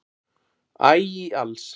æ í alls